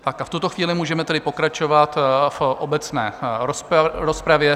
Tak a v tuto chvíli můžeme tedy pokračovat v obecné rozpravě.